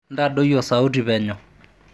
intadoi osauti penyo